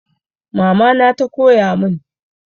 Mama na ta koya mun